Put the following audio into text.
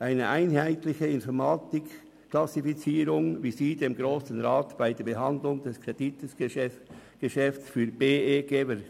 Eine einheitliche Informationsklassifizierung, wie sie dem Grossen Rat bei der Behandlung des Kreditgeschäfts für BEGEVER